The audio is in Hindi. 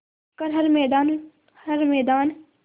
कर हर मैदान हर मैदान